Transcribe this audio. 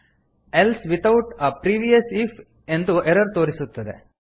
else without a previous if ಎಂದು ಎರರ್ ತೋರಿಸುತ್ತದೆ